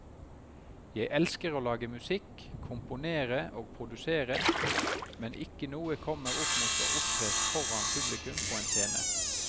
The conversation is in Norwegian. Jeg elsker å lage musikk, komponere og produsere, men ikke noe kommer opp mot å opptre foran publikum på en scene.